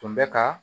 Tun bɛ ka